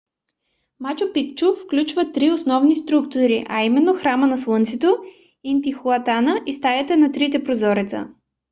мачу пикчу включва три основни структури а именно храма на слънцето интихуатана и стаята на трите прозореца